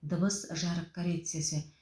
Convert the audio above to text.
дыбыс жарық коррекциясы